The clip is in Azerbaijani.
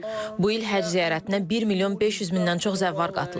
Bu il Həcc ziyarətinə 1 milyon 500 mindən çox zəvvar qatılıb.